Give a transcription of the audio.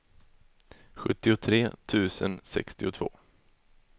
sjuttiotre tusen sextiotvå